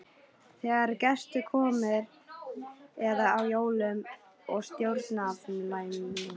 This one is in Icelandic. Þegar gestir komu eða á jólum og stórafmælum.